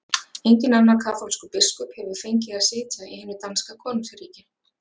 Enginn annar kaþólskur biskup hefur fengið að sitja í hinu danska konungsríki!